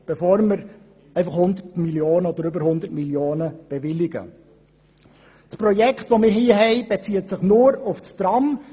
Das hier vorliegende Projekt bezieht sich nur auf das Tram.